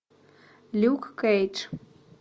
люк кейдж